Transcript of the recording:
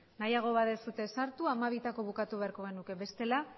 nahiago baduzue ez sartu hamabitako bukatu beharko genuke bestela